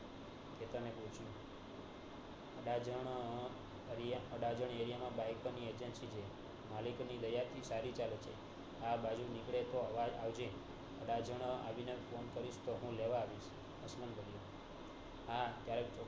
Adajan area માં bike ની agency છે મલિક ની દયા થી સારી ચાલે છે આ બાજુ નીકળે તો આવજે અડાજણ આવીને phone કરીશ તોહ હું લેવા આવીશ હા ક્યારેક